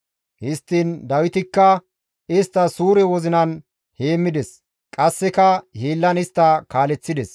Histtiin Dawitikka istta suure wozinan heemmides; qasseka hiillan istta kaaleththides.